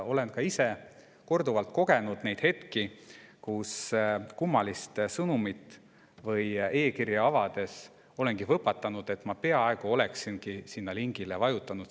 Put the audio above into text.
Olen ka ise korduvalt kogenud neid hetki, kui kummalist sõnumit või e-kirja avades olen võpatanud, sest ma peaaegu oleksingi sinna lingile vajutanud.